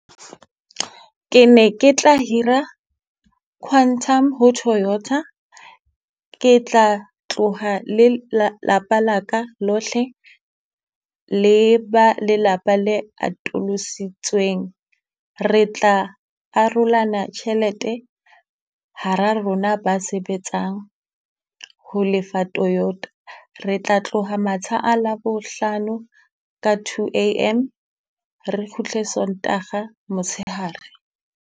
Ke ne ke tla hira quantum ho Toyota, ke tla tloha le lapa la ka lohle. Le ba lelapa le atolositsweng, re tla arolana tjhelete hara rona ba sebetsang ho lefa Toyota. Re tla tloha matsha a Labohlano ka two A_M re kgutle Sontaga motshehare.